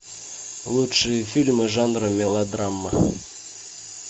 лучшие фильмы жанра мелодрама